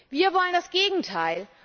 Wir wollen das Gegenteil.